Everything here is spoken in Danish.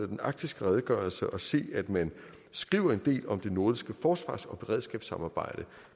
den arktiske redegørelse at se at man skriver en del om det nordiske forsvars og beredskabssamarbejde